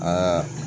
Aa